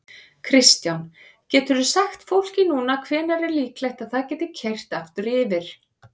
Kristján: Geturðu sagt fólki núna hvenær er líklegt að það geti keyrt aftur yfir?